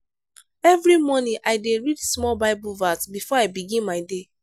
every morning i dey read small bible verse before i begin my day.